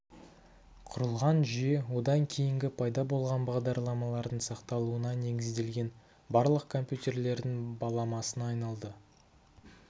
құрылған жүйе одан кейінгі пайда болған бағдарламалардың сақталуына негізделген барлық компьютерлердің баламасына айналды